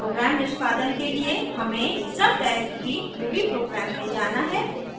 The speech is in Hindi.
प्रोग्राम निष्पादन के लिए हमें सबडाइरेक्टरी ruby program में जाना है